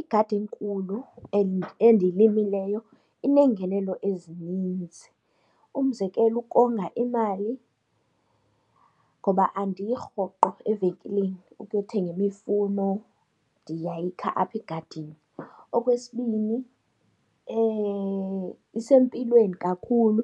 Igadi enkulu and endiyimileyo ineengenelo ezininzi, umzekelo ukonga imali ngoba andiyi rhoqo evenkileni ukuthenga imifuno ndiyayikha apha egadini. Okwesibini isempilweni kakhulu